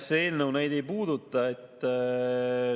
See eelnõu neid ei puuduta.